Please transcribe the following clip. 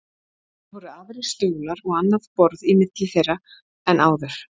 Þar voru aðrir stólar og annað borð í milli þeirra en áður.